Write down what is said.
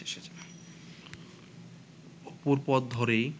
অপুর পথ ধরেই